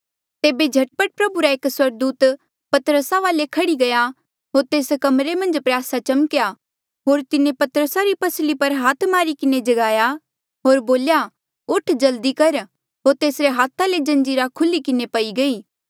तेबे झट पट प्रभु रा एक स्वर्गदूत पतरसा वाले खह्ड़ी गया होर तेस कमरे मन्झ प्रयासा चमक्या होर तिन्हें पतरसा री पसली पर हाथ मारी किन्हें जगाया होर बोल्या उठ जल्दी कर होर तेसरे हाथा ले जंजीरा खुल्ही किन्हें पई गयी